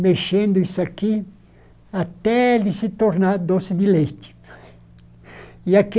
mexendo isso aqui até ele se tornar doce de leite. E